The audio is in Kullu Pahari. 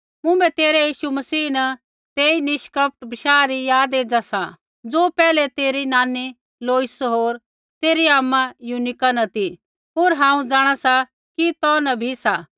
मुँभै तेरै यीशु मसीह न तेई निष्कपट बशाह री याद एज़ा सा ज़ो पैहलै तेरी नानी लोइस होर तेरी आमा यूनीका न ती होर हांऊँ जाँणा सा कि तौ न भी सा